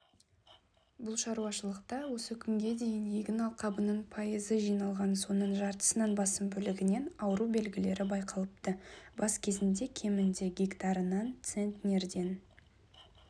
бұл шаруашылықта осы күнге дейін егін алқабының пайызы жиналған соның жартысынан басым бөлігінен ауру белгілері байқалыпты бас кезінде кемінде гектарынан центнерден